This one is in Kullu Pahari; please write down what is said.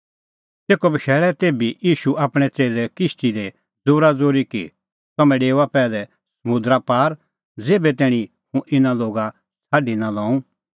तेखअ बशैल़ै तेभी ईशू आपणैं च़ेल्लै किश्ती दी ज़ोराज़ोरी कि तम्हैं डेओआ पैहलै समुंदरा पार ज़ेभै तैणीं हुंह इना लोगा छ़ाडी निं लऊं